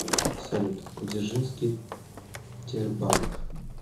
салют дзержинский тербанк